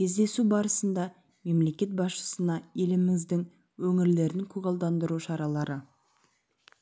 кездесу барысында мемлекет басшысына еліміздің өңірлерін көгалдандыру шаралары